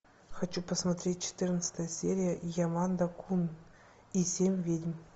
хочу посмотреть четырнадцатая серия ямада кун и семь ведьм